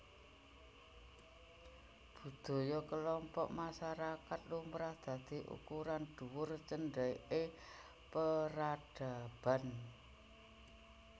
Budaya kelompok masyarakat lumrah dadi ukuran dhuwur cendheke peradaban